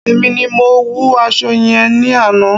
Èmi ni mo wun aṣọ yẹn ní àná.